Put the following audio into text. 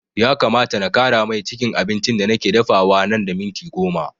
Ya kamata na ƙara mai cikin abincin da nake dafawa nan da minti goma